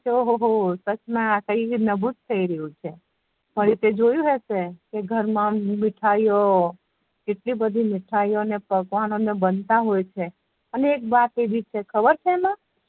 કે ઓહો ઓ સચ મા કઈ નવુ જ થઇ રહીયુ છે ફરી તે જોયુજ હશે કે ઘર મા આમ મીઠાયો કેટલી બધી મીથાયો ને પકવાનો ને બનતા હોય છ અને એક વાત એવી છે એમાં ખબર છે એમા